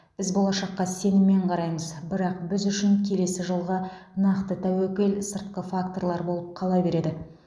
біз болашаққа сеніммен қараймыз бірақ біз үшін келесі жылғы нақты тәуекел сыртқы факторлар болып қала береді